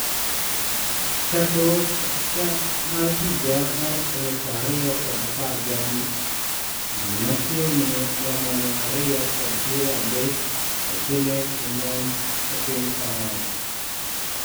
chakruok chak mar higa mar aluf ariyo kod apar gi abich, ji ma chiegni romo mia ariyo kod piero adek oseneg e monj e piny france